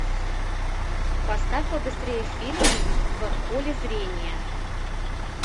поставь побыстрее фильм в поле зрения